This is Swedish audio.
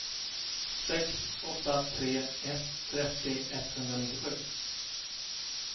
sex åtta tre ett trettio etthundranittiosju